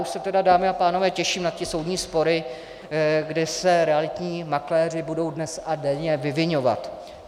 Už se tedy, dámy a pánové, těším na ty soudní spory, kdy se realitní makléři budou dnes a denně vyviňovat.